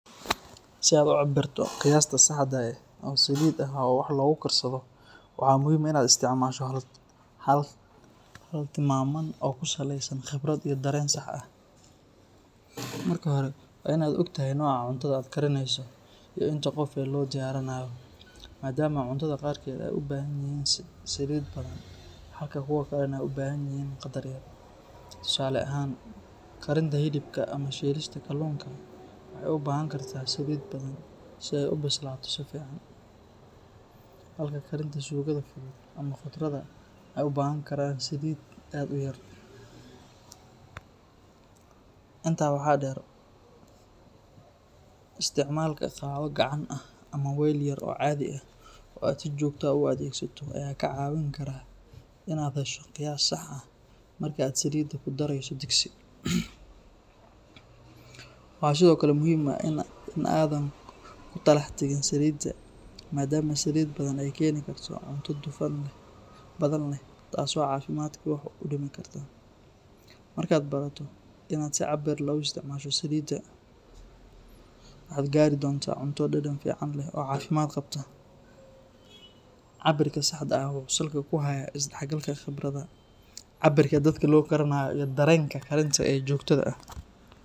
Si aad u cabirto qiyaasta saxda ah oo saliid ah oo wax lagu karsado, waxaa muhiim ah in aad isticmaasho hab tilmaaman oo ku saleysan khibrad iyo dareen sax ah. Marka hore, waa in aad ogtahay nooca cuntada aad karineyso iyo inta qof ee loo diyaarinayo, maadaama cuntada qaarkeed ay u baahan yihiin saliid badan halka kuwa kalena ay u baahan yihiin qadar yar. Tusaale ahaan, karinta hilibka ama shiilista kalluunka waxay u baahan kartaa saliid badan si ay u bislaato si fiican, halka karinta suugada fudud ama khudradda ay u baahan karaan saliid aad u yar. Intaa waxaa dheer, isticmaalka qaaddo gacan ah ama weel yar oo caadi ah oo aad si joogto ah u adeegsato ayaa kaa caawin kara in aad hesho qiyaas sax ah marka aad saliidda ku dareyso digsi. Waxaa sidoo kale muhiim ah in aadan ku talax tagin saliidda, maadaama saliid badan ay keeni karto cunto dufan badan leh taasoo caafimaadka wax u dhimi karta. Marka aad barato in aad si cabbir leh u isticmaasho saliidda, waxaad gaari doontaa cunto dhadhan fiican leh oo caafimaad qabta. Cabbirka saxda ah wuxuu salka ku hayaa isdhexgalka khibradda, cabbirka dadka loo karinayo, iyo dareenka karinta ee joogtada ah.